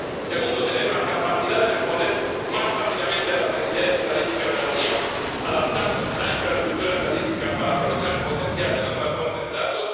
Segundo, tener la capacidad de responder más rápidamente a las necesidades estadísticas de la Unión, adaptando la infraestructura estadística para aprovechar el potencial de las nuevas fuentes de datos.